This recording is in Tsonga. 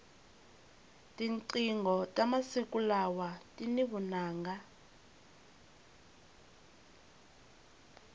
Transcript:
tinqingho ta masiku lawa tini vunanga